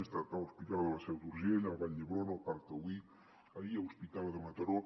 he estat a l’hospital de la seu d’urgell a vall d’hebron al parc taulí ahir a l’hospital de mataró